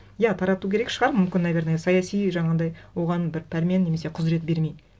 иә тарату керек шығар мүмкін наверное саяси жаңағындай оған бір пәрмен немесе құзырет беремей